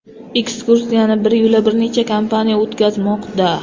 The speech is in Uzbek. Ekskursiyani biryo‘la bir necha kompaniya o‘tkazmoqda.